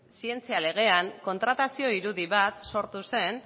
zientzia legean kontratazio irudi bat sortu zen